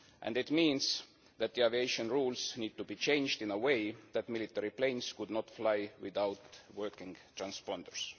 This means that the aviation rules need to be changed in such a way that military planes could not fly without working transponders.